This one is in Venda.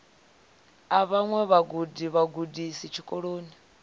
a vhaṅwe vhagudi vhagudisi tshikolo